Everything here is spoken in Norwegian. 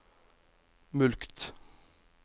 mulkt